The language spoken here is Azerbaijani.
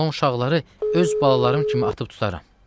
Ondan olan uşaqları öz balalarım kimi atıb tutaram.